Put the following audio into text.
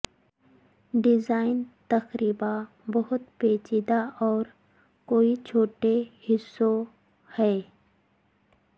design تقریبا بہت پیچیدہ اور کوئی چھوٹے حصوں ہے